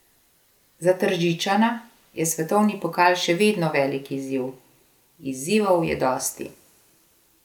Za Tržičana je svetovni pokal še vedno velik izziv: 'Izzivov je dosti.